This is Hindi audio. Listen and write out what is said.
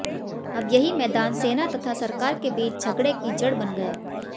अब यही मैदान सेना तथा सरकार के बीच झगड़े की जड़ बन गया